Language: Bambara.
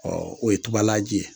o ye tubalaji ye